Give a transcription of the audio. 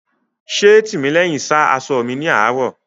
Ṣé Tìmílẹ́hìn sá aṣọ mi ní àárò?